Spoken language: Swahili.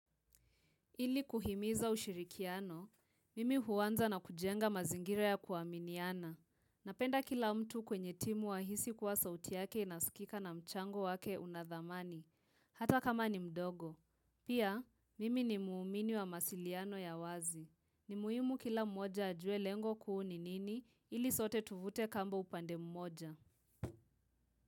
Ili kuhimiza ushirikiano, mimi huwanza na kujenga mazingira ya kuaminiana. Napenda kila mtu kwenye timu ahisi kwa sauti yake inasikika na mchango wake unadhamani, hata kama ni mdogo. Pia, mimi ni muumini wa masiliano ya wazi. Ni muhimu kila mmoja ajue lengo kuu ni nini ili sote tuvute kamba upande mmoja.